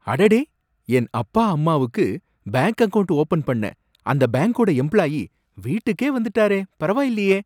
அடடே! என் அப்பா அம்மாவுக்கு பேங்க் அக்கவுண்ட் ஓபன் பண்ண அந்த பேங்க்கோட எம்ப்ளாயீ வீட்டுக்கே வந்துட்டாரே, பரவாயில்லையே!